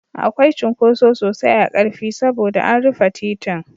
Akwai cunkoso sosai a Ƙarfi saboda an rufe titin.